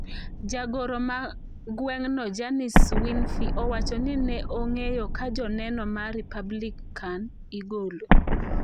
Jagoro ma gwen'no Janice Winfrey owacho ni ne ong'eyo ka joneno ma Republican igolo.